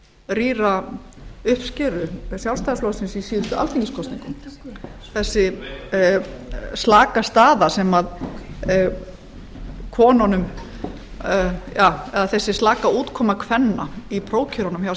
rýra uppskeru háttvirtur þingmaður ásta möller talaði um að sú staða hefði að hluta til skýrt rýra uppskeru sjálfstfl í síðustu alþingiskosningum þessi slaka útkoma kvenna í prófkjörunum hjá sjálfstfl